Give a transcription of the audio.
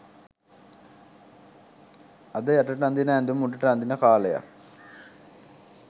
අද යටට අදින ඇදුමි උඩට අදින කාලයක්